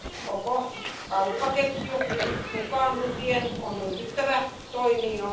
Koko kauppaketju mukaan lukien on ryhdyttävä toimiin.